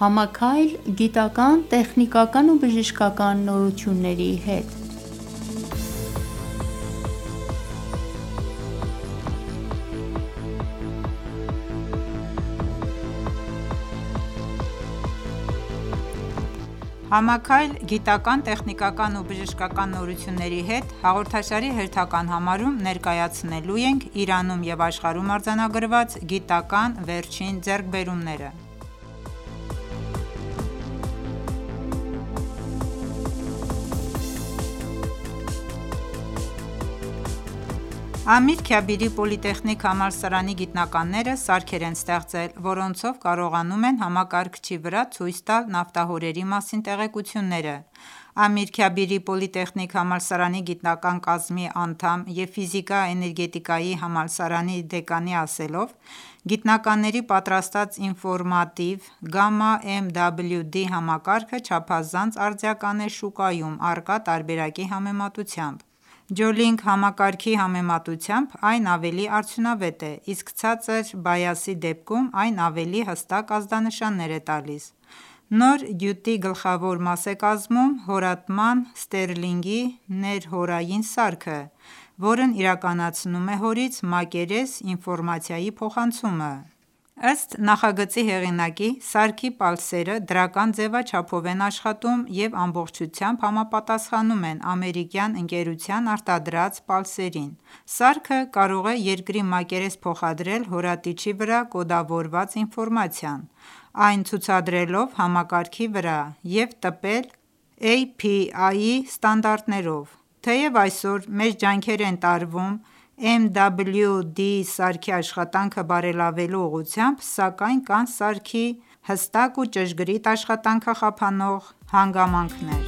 Համաքայլ՝ գիտական, տեխնիկական ու բժշկական նորությունների հետ «Համաքայլ՝ գիտական, տեխնիկական ու բժշկական նորությունների հետ» հաղորդաշարի հերթական համարում ներկայացնելու ենք Իրանում և աշխարհում արձանագրված գիտական վերջին ձեռքբերումները: Ամիր Քաբիրի պոլիտեխնիկ համալսարանի գիտնականները սարքեր են ստեղծել, որոնցող կարողանում են համակարգչի վրա ցույց տալ նավթահորերի մասին տեղեկությունները: Ամիր Քաբիրի պոլիտեխնիկ համալսարանի գիտական կազմի անդամ և ֆիզիկա-էներգետիկայի համալսարանի դեկանի ասելով, գիտնականների պատրաստած ինֆորմատիվ GAMMA MWD համակարգը չափազանց արդիական է շուկայում առկա տարբերակի համեմատությամբ: Geolink համակարգի համեմատությամբ այն ավելի արդյունավետ է, իսկ ցածր բայասի դեպքում, այն ավելի հստակ ազդանշաններ է տալիս: Նոր գյուտի գլխավոր մաս է կազմում հորատման ստերլինգի ներհորային սարքը, որն իրականացնում է հորից մակերես ինֆորմացիայի փոխանցումը: Ըստ նախագծի հեղինակի, սարքի պալսերը դրական ձևաչափով են աշխատում և ամբողջությամբ համապատասխանում են ամերիկյան ընկերության արտադրած պալսերին: Սարքը կարող է երկրի մակերես փոխադրել հորատիչի վրա կոդավորված ինֆորմացիան ՝ այն ցուցադրելով համակարգի վրա և տպել API-ի ստանդարտներով: Թեև այսօր մեծ ջանքեր են տարվում MWD սարքի աշխատանքը բարելավելու ուղղությամբ, սակայն կան սարքի հստակ ու ճշգրիտ աշխատանքը խափանող հանգամանքներ: